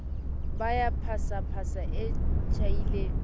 ba ya phasaphasa e tjhaile